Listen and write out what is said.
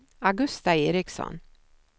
Augusta Eriksson